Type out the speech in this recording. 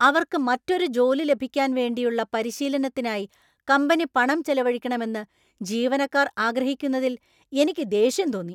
അവർക്ക് മറ്റൊരു ജോലി ലഭിക്കാൻ വേണ്ടിയുള്ള പരിശീലനത്തിനായി കമ്പനി പണം ചെലവഴിക്കണമെന്ന് ജീവനക്കാർ ആഗ്രഹിക്കുന്നതിൽ എനിക്ക് ദേഷ്യം തോന്നി.